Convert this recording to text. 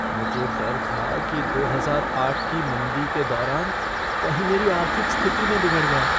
मुझे डर था कि दो हजार आठ की मंदी के दौरान कहीं मेरी आर्थिक स्थिति न बिगड़ जाए।